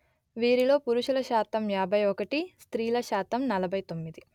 వీరిలో పురుషుల శాతం యాభై ఒకటి% స్త్రీల శాతం నలభై తొమ్మిది%